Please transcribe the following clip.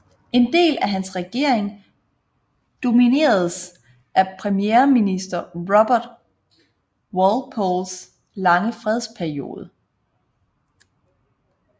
En del af hans regering domineredes af premierminister Robert Walpoles lange fredsperiode